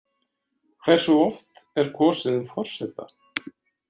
Hversu oft er kosið um forseta?